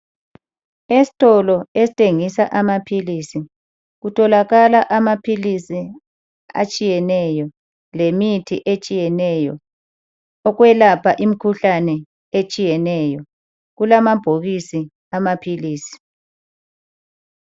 Esitolo esithengisa amaphilisi kutholakala amaphilisi atshiyeneyo lemithi etshiyeneyo okwelapha imikhuhlane etshiyeneyo. Kulamabhokisi amaphilisi.